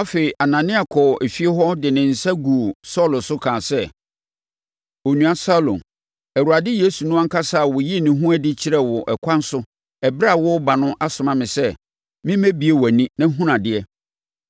Afei, Anania kɔɔ efie hɔ de ne nsa guu Saulo so kaa sɛ, “Onua Saulo, Awurade Yesu no ankasa a ɔyii ne ho adi kyerɛɛ wo ɛkwan so ɛberɛ a woreba no asoma me sɛ, memmɛbue wʼani na hunu adeɛ,